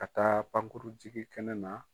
Ka taa pankurun jigin kɛnɛ na.